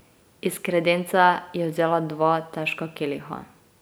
Iz kredence je vzela dva težka keliha.